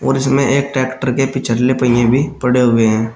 और इसमें एक ट्रैक्टर के पिछले पहिए भी पड़े हुए हैं।